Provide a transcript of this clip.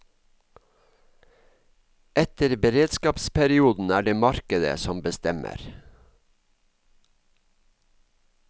Etter beredskapsperioden er det markedet som bestemmer.